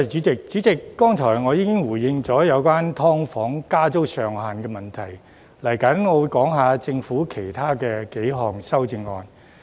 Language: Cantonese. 主席，我剛才已經回應有關"劏房"加租上限的問題，接下來我會講述政府其他幾項修正案。